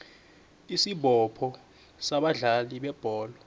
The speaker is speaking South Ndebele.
isibopho sabadlali bebholo